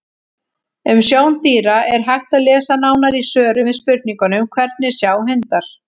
Um sjón dýra er hægt að lesa nánar í svörum við spurningunum: Hvernig sjá hundar?